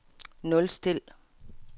nulstil